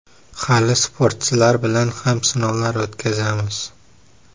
Hali sportchilar bilan ham sinovlar o‘tkazamiz.